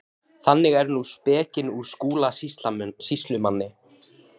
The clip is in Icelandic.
Þannig er nú spekin úr Skúla sýslumanni.